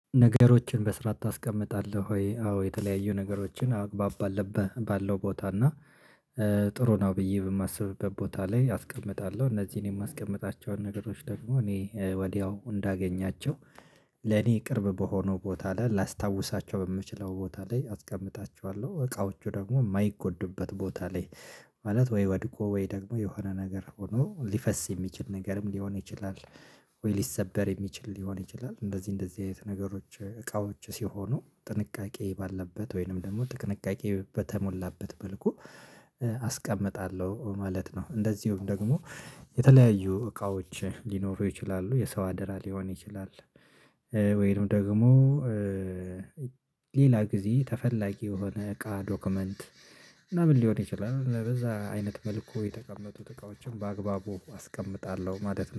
ነገሮችን በስርዓት ታስቀምጣለህ ወይ? አዎ የተለያዩ ነገሮችን አግባብ አለብህ ባለው ቦታ እና ጥሩ ነው ብዬ በማስብበት ቦታ ላይ አስቀምጣለሁ። እነዚህን የማስቀምጣቸውን ነገሮች ደግሞ እኔ ወዲያው እንዳገኛቸው ለኔ ቅርብ በሆነው ቦታ ላይ ላስታውሳቸው በምችለው ቦታ ላይ አስቀምጣቸዋለሁ። እቃዎቹ ደግሞ የማይጎዱበት ቦታ ላይ ማለት ወይ ወድቆ ወይ ደግሞ የሆነ ነገር ሆኖ ሊፈስ የሚችል ነገርም ሊሆን ይችላል። ሊሰበር የሚችል ሊሆን ይችላል እንደዚህ እንደዚህ አይነት ነገሮች እቃዎች ሲሆኑ ጥንቃቄ ባለበት ወይንም ደግሞ ጥንቃቄ በተሞላበት መልኩ አስቀምጣለሁ ማለት ነው። እንደዚሁም ደግሞ የተለያዩ እቃዎች ሊኖሩ ይችላሉ የሰው አደራ ሊሆን ይችላል። ወይንም ደግሞ ሌላ ጊዜ ተፈላጊ የሆነ እቃ ዶክመንት ምናምን ሊሆን ይችላል። ለዛ አይነት መልኩ የተቀመጡት እቃዎችን በአግባቡ አስቀምጣለሁ ማለት።